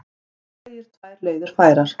Hann segir tvær leiðir færar.